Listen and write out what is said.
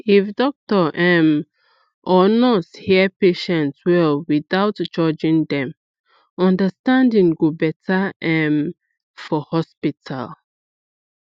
if doctor um or nurse hear patient well without judging dem understanding go better um for hospital